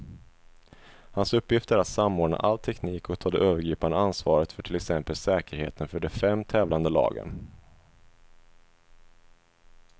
Hans uppgift är att samordna all teknik och ta det övergripande ansvaret för till exempel säkerheten för de fem tävlande lagen.